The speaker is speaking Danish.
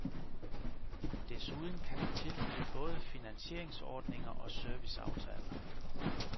Desuden kan de tilbyde både finansieringsordninger og serviceaftaler.